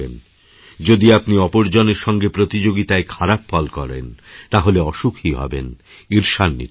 যদি আপনি অপর জনের সঙ্গে প্রতিযোগিতায় খারাপ ফল করেন তাহলে অসুখী হবেনঈর্ষান্বিত হবেন